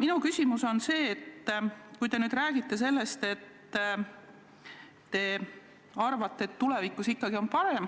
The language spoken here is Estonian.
Minu küsimus on selline: kui te räägite sellest, et te arvate, et tulevikus on parem,